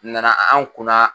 Na na an kun na.